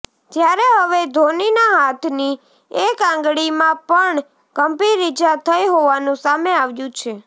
ત્યારે હવે ધોનીના હાથની એક આંગળીમાં પણ ગંભીર ઇજા થઈ હોવાનું સામે આવ્યું છે